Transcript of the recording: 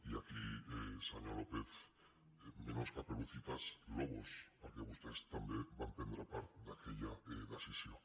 i aquí senyor lópez menos caperucitas lobos perquè vostès també van prendre part en aquella decisió